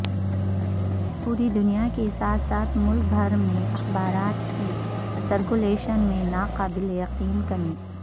پوری دنیا کے ساتھ ساتھ ملک بھر میں اخبارات کی سرکولیشن میں ناقابل یقین کمی